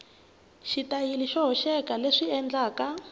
xitayili xo hoxeka leswi endlaka